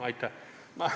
Aitäh!